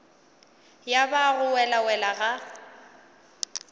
ya ba go welawela ga